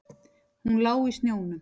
Hún lá í snjónum.